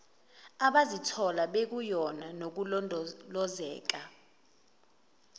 abazithola bekuyona nokulondolozeka